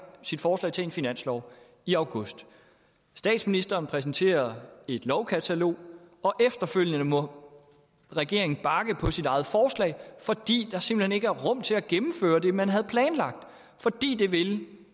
sit forslag til finanslov i august statsministeren præsenterer et lovkatalog og efterfølgende må regeringen bakke på sit eget forslag fordi der simpelt hen ikke er rum til at gennemføre det man havde planlagt fordi det vil